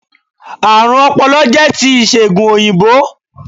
Àrùn ọpọlọ jẹ́ ti ìsègùn òyìnbó